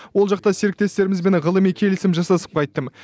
ол жақта серіктестерімізбен ғылыми келісім жасасып қайттым